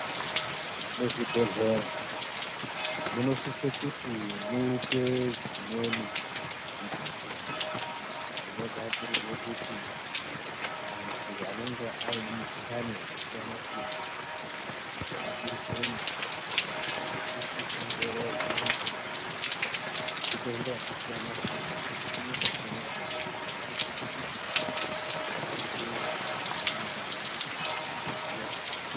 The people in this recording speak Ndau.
Muzvibhedhlera munosisa kuti muite dzimweni mbatso dzinogadzirirwe kuti andu anenge aine mikhuhlane yakasiyana siyana ichizoongororwa ngemitombo yakasiyana siyana nemushini yakasiyana siyana ngokuti anosise kuti aite zvakanaka.